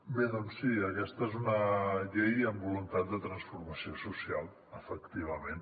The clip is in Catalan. bé doncs sí aquesta és una llei amb voluntat de transformació social efectivament